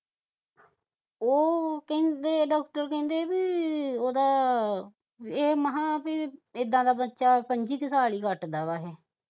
ਉਹ ਕਹਿੰਦੇ ਡਾਕਟਰ ਕਹਿੰਦੇ ਬਈ ਉਹਦਾ ਇਹ ਮਹਾ ਬਾਈ ਇੱਦਾਂ ਦਾ ਬੱਚਾ ਕਿ ਪੰਝੀ ਸਾਲ ਹੀ ਕੱਟਦਾ ਵਾ